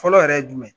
Fɔlɔ yɛrɛ ye jumɛn ye